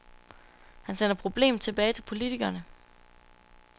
Han sender problemet tilbage til politikerne.